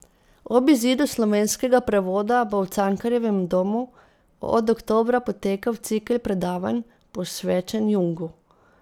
Ob izidu slovenskega prevoda bo v Cankarjevem domu od oktobra potekal cikel predavanj, posvečen Jungu.